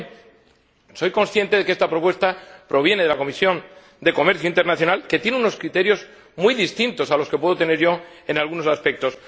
Ahora bien, soy consciente de que esta propuesta proviene de la Comisión de Comercio Internacional, que tiene unos criterios muy distintos a los que puedo tener yo en algunos aspectos.